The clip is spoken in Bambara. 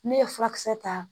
Ne ye furakisɛ ta